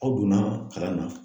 Aw donna kalan na.